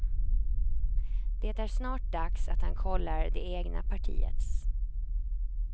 Det är snart dags att han kollar det egna partiets.